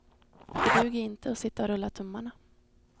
Det duger inte att sitta och rulla tummarna.